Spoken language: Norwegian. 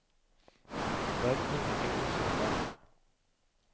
Det er ingenting å misunne dem.